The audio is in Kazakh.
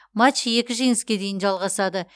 матч екі жеңіске дейін жалғасады